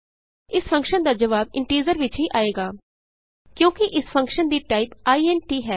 ਇਸ ਫੰਕਸ਼ਨ ਦਾ ਜਵਾਬ ਇੰਟੀਜ਼ਰ ਵਿਚ ਹੀ ਆਏਗਾ ਕਿਉਂਕਿ ਇਸ ਫੰਕਸ਼ਨ ਦੀ ਟਾਈਪ ਇੰਟ ਹੈ